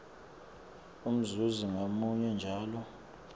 umzuzi ngamunye njalo